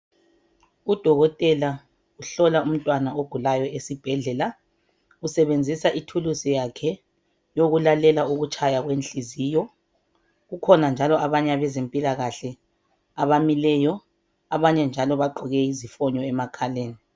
Udokotela uhlola umntwana ogulayo esibhedlela. Usebenzisa ithuluzi yakhe yokulalela ukutshaya kwenhliziyo. Kukhona njalo abanye abezempilakahle abamileyo. Abanye njalo bagqoke izifunyo lemakhaleni.